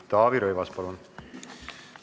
Taavi Rõivas, palun!